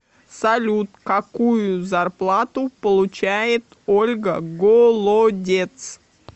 салют какую зарплату получает ольга голодец